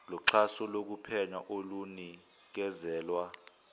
noxhaso lokuphenya olunikezelwa